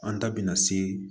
An ta bɛna se